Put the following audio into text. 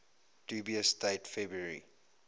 dubious date february